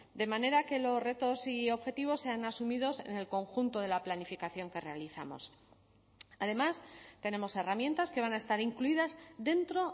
de manera que los retos y objetivos sean asumidos en el conjunto de la planificación que realizamos además tenemos herramientas que van a estar incluidas dentro